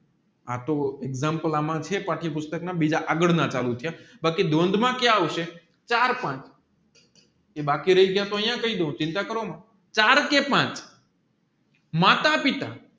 આતો એક્ષામપ્લે છે પાટ્ય પુષ્ટક ના બીજા આગળ ના બાકી દ્વંદ્વ માં ક્યાં આવશે ચાર પાંચ જે બાકી રાયી ગયા તોહ અહિયાં કહીડવ ચિંતા કારોમાં ચાર કે પાંચ માતા પિતા